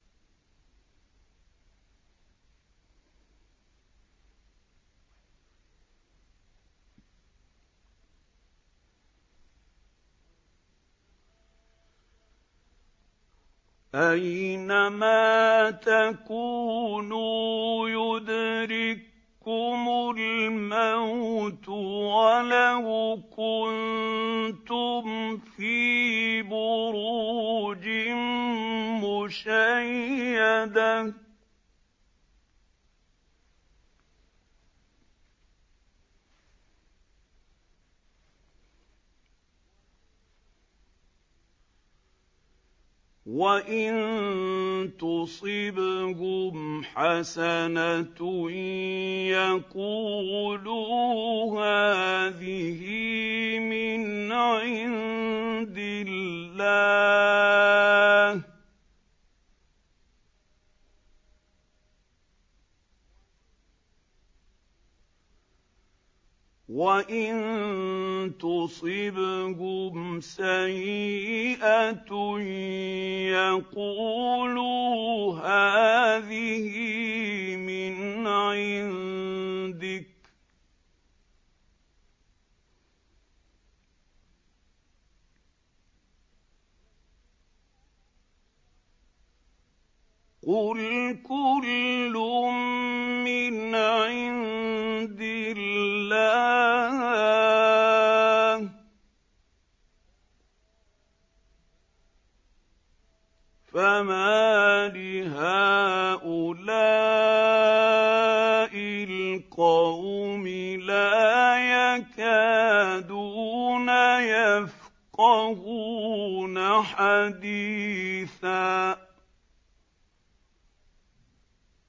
أَيْنَمَا تَكُونُوا يُدْرِككُّمُ الْمَوْتُ وَلَوْ كُنتُمْ فِي بُرُوجٍ مُّشَيَّدَةٍ ۗ وَإِن تُصِبْهُمْ حَسَنَةٌ يَقُولُوا هَٰذِهِ مِنْ عِندِ اللَّهِ ۖ وَإِن تُصِبْهُمْ سَيِّئَةٌ يَقُولُوا هَٰذِهِ مِنْ عِندِكَ ۚ قُلْ كُلٌّ مِّنْ عِندِ اللَّهِ ۖ فَمَالِ هَٰؤُلَاءِ الْقَوْمِ لَا يَكَادُونَ يَفْقَهُونَ حَدِيثًا